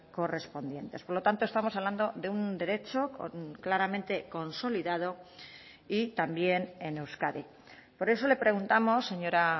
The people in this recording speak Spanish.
correspondientes por lo tanto estamos hablando de un derecho claramente consolidado y también en euskadi por eso le preguntamos señora